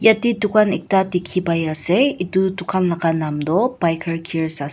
yate dukan ekta dikhi pai ase etu dukan laga naam tu biker gearz ase.